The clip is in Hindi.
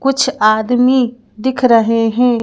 कुछ आदमी दिख रहे हैं।